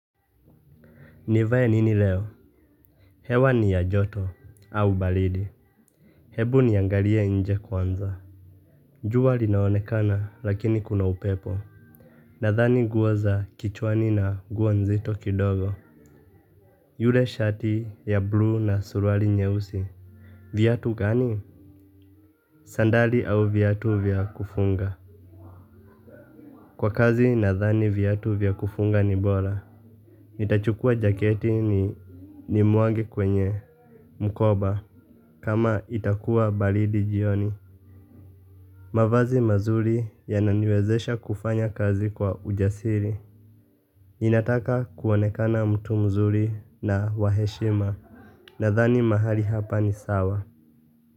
Nivae nini leo? Hewa ni ya joto, au baridi. Hebu niangalie inje kwanza. Jua linaonekana, lakini kuna upepo. Nadhani nguo za kichwani na nguo nzito kidogo. Yule shati ya bluu na suruari nyeusi. Vyatu gani? Sandali au vyatu vya kufunga. Kwa kazi, nathani vyatu vya kufunga ni bora. Nitachukua jaketi ni muage kwenye. Mkoba. Kama itakua baridi jioni. Mavazi mazuri yanani wezesha kufanya kazi kwa ujasiri. Inataka kuonekana mtu mzuri na wa heshima. Nathani mahali hapa ni sawa.